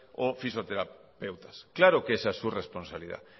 o fisioterapeutas claro que esa es su responsabilidad